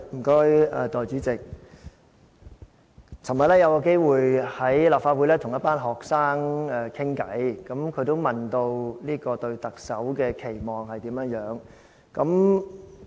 代理主席，昨天有機會在立法會跟一群學生交談，有同學問我對特首的期望是甚麼。